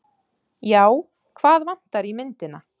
Já, hvað vantar í myndina?